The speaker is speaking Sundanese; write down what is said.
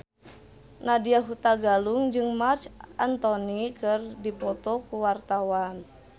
Nadya Hutagalung jeung Marc Anthony keur dipoto ku wartawan